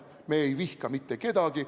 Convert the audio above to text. Me ei vihka mitte kedagi.